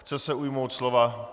Chce se ujmout slova.